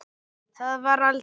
Það var aldrei myrkur.